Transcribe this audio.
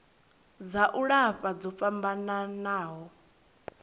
dza u lafha dzo fhambanaho